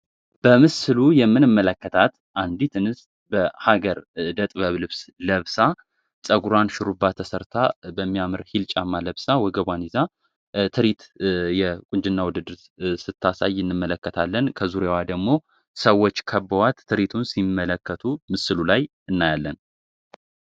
በምስሉ የምንመለከታት አንዲት እንስት በሀገር እደጥበብ ልብስ ለብሳ ጸጉራን ሽሩባ ተሰርታ በሚያምር ሂልጫማ ለብሳ ወገቧን ይዛ ትሪት የቁንጅና ውድድር ስታሳይ እንመለከታለን ከዙሪያዋ ደግሞ ሰዎች ከበዋት ትሪቱን ሲመለከቱ ምስሉ ላይ እናያለን።